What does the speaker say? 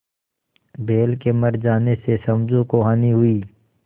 बैल के मर जाने से समझू को हानि हुई